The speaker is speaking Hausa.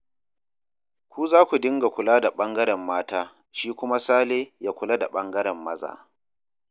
Ku za ku dinga kula da ɓangaren mata, shi kuma Sale ya kula da ɓangaren maza